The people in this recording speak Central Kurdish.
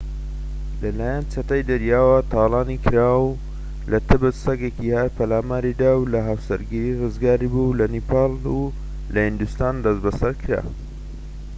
لەلایەن چەتەی دەریاوە تاڵانی کرا و لە تبت سەگێکی هار پەلاماری دا و لە هاوسەرگیری ڕزگاری بوو لە نیپاڵ و لە هیندستان دەستبەسەر کرا